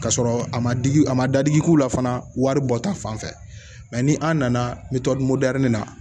Ka sɔrɔ a ma digi a ma dadigi k'u la fana waribɔta fanfɛ ni an nana na